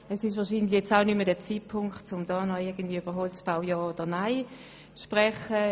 Es ist wahrscheinlich auch nicht der Zeitpunkt, um noch darüber zu diskutieren, ob man für oder gegen den Holzbau ist.